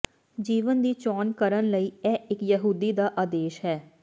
ਜੀਵਨ ਦੀ ਚੋਣ ਕਰਨ ਲਈ ਇਹ ਇਕ ਯਹੂਦੀ ਦਾ ਆਦੇਸ਼ ਹੈ